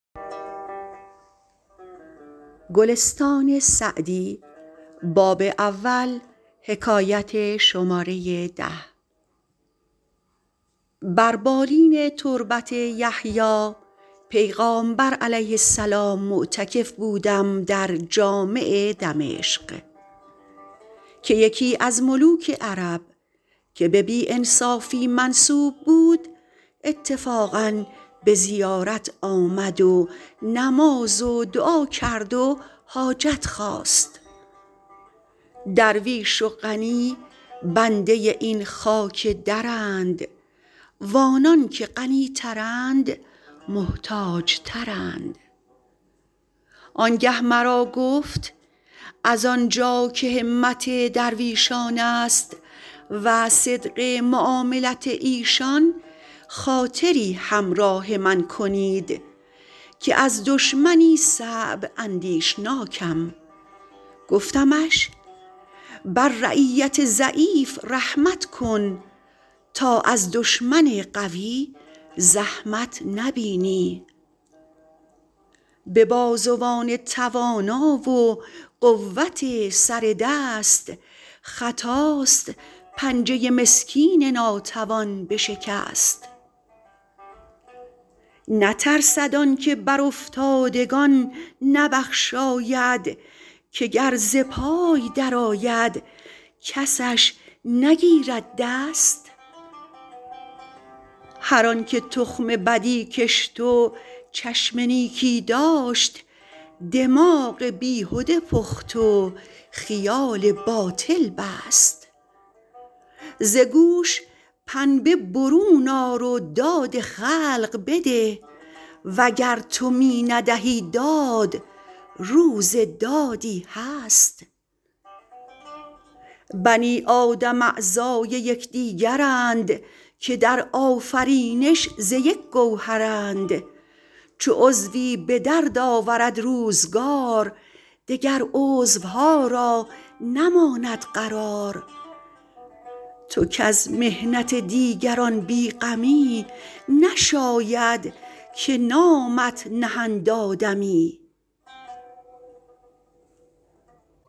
بر بالین تربت یحیی پیغامبر -علیه السلام- معتکف بودم در جامع دمشق که یکی از ملوک عرب که به بی انصافی منسوب بود اتفاقا به زیارت آمد و نماز و دعا کرد و حاجت خواست درویش و غنی بنده این خاک درند و آنان که غنی ترند محتاج ترند آن گه مرا گفت از آن جا که همت درویشان است و صدق معاملت ایشان خاطری همراه من کنید که از دشمنی صعب اندیشناکم گفتمش بر رعیت ضعیف رحمت کن تا از دشمن قوی زحمت نبینی به بازوان توانا و قوت سر دست خطاست پنجه مسکین ناتوان بشکست نترسد آن که بر افتادگان نبخشاید که گر ز پای در آید کسش نگیرد دست هر آن که تخم بدی کشت و چشم نیکی داشت دماغ بیهده پخت و خیال باطل بست ز گوش پنبه برون آر و داد خلق بده وگر تو می ندهی داد روز دادی هست بنی آدم اعضای یکدیگرند که در آفرینش ز یک گوهرند چو عضوی به درد آورد روزگار دگر عضوها را نماند قرار تو کز محنت دیگران بی غمی نشاید که نامت نهند آدمی